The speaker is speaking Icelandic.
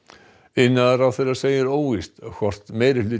iðnaðarráðherra segir óvíst hvort